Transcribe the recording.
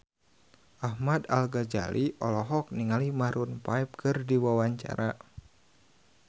Ahmad Al-Ghazali olohok ningali Maroon 5 keur diwawancara